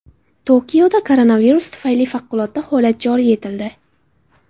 Tokioda koronavirus tufayli favqulodda holat joriy etildi.